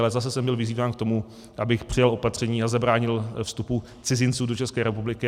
Ale zase jsem byl vyzýván k tomu, abych přijal opatření a zabránil vstupu cizinců do České republiky.